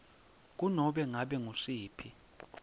kunobe ngabe ngusiphi